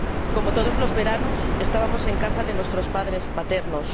Como todos los veranos, estábamos en casa de nuestros abuelos paternos.